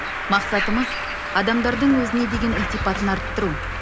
мақсатымыз адамдардың өзіне деген ілтипатын арттыру